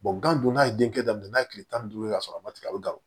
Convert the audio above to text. gan dunan ye den kɛ daminɛ n'a ye tile tan ni duuru ka sɔrɔ a ma tigɛ a bɛ gawo